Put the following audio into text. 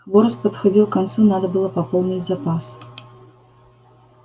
хворост подходил к концу надо было пополнить запас